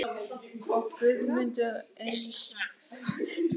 og Guðmundur Einarsson, listamaður frá Miðdal í Mosfellssveit.